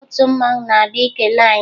Otu mmanwụ na-abịa ikele anyị